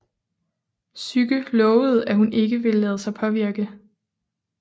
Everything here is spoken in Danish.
Psyke lovede at hun ikke ville lade sig påvirke